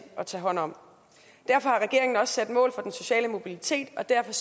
at tage hånd om derfor har regeringen også sat mål for den sociale mobilitet og derfor